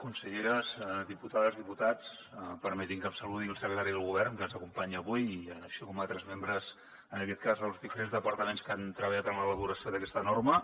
conselleres diputades diputats permetin me que saludi el secretari del govern que ens acompanya avui així com altres membres en aquest cas dels diferents departaments que han treballat en l’elaboració d’aquesta norma